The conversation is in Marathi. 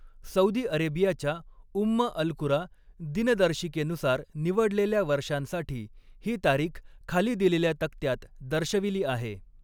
सौदी अरेबियाच्या उम्म अल कुरा दिनदर्शिकेनुसार निवडलेल्या वर्षांसाठी ही तारीख खाली दिलेल्या तक्त्यात दर्शविली आहे.